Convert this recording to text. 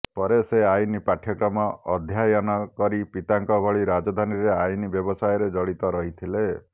ପରେ ସେ ଆଇନ ପାଠ୍ୟକ୍ରମ ଅଧ୍ୟାୟନ କରି ପିତାଙ୍କ ଭଳି ରାଜଧାନୀରେ ଆଇନ ବ୍ୟବସାୟରେ ଜଡିତ ରହିଥିଲେ